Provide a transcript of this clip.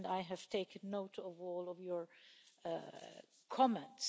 I have taken note of all of your comments.